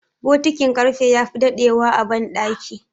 bokitin karfe ya fi dadewa a bandaki